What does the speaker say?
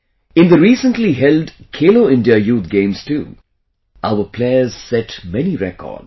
In the recently held Khelo India Youth Games too, our players set many records